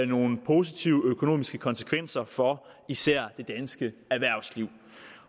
nogle positive økonomiske konsekvenser for især det danske erhvervsliv